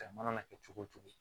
Cɛ mana kɛ cogo o cogo